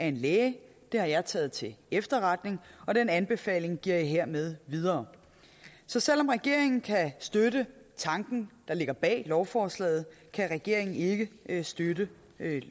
en læge det har jeg taget til efterretning og den anbefaling giver jeg hermed videre så selv om regeringen kan støtte tanken der ligger bag lovforslaget kan regeringen ikke ikke støtte